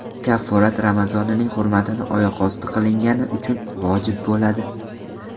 Kafforat Ramazonning hurmatini oyoqosti qilingani uchun vojib bo‘ladi.